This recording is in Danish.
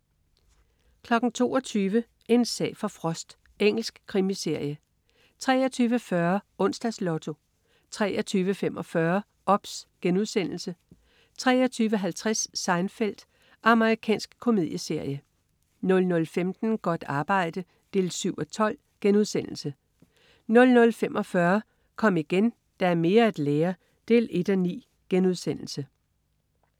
22.00 En sag for Frost. Engelsk krimiserie 23.40 Onsdags Lotto 23.45 OBS* 23.50 Seinfeld. Amerikansk komedieserie 00.15 Godt arbejde 7:12* 00.45 Kom igen, der er mere at lære 1:9*